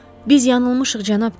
Biz yanılmışıq cənab Tom.